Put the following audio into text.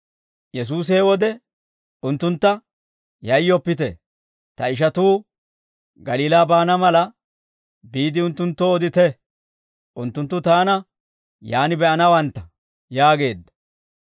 Yesuusi he wode unttuntta, «Yayyoppite; ta ishatuu Galiilaa baana mala, biide unttunttoo odite; unttunttu taana yaan be'anawantta» yaageedda.